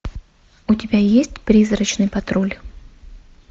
у тебя есть призрачный патруль